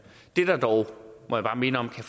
må bare minde om